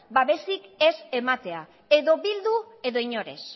babesik ez ematea edo bildu edo inor ez